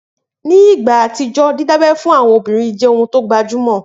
Ni ìgbà àtijọ́, dídábẹ́ fún àwọn obìnrin jẹ́ ohun tó gbajúmọ̀